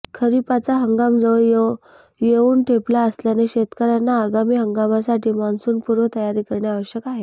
खरीपाचा हंगाम जवळ येवून ठेपला असल्याने शेतकऱ्यांना आगामी हंगामासाठी मॉन्सूनपूर्व तयारी करणे आवश्यक आहे